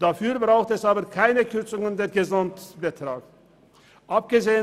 Dafür braucht es aber keine Kürzung des Gesamtbetrags.